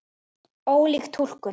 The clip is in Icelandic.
Ólík túlkun.